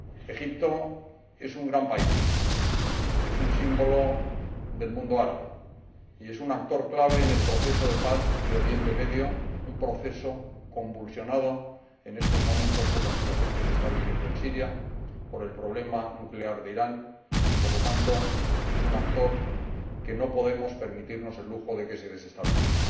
Egipto es un gran país, es un símbolo del mundo árabe y es un actor clave en el proceso de paz de Oriente Medio, un proceso convulsionado en estos momentos por la situación que se está viviendo en Siria, por el problema nuclear de Irán, y, por lo tanto, es un actor que no podemos permitirnos el lujo de que se desestabilice.